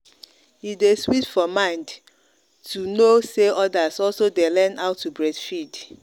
e day sweet for mind to know say others also dey learn how to breastfeed.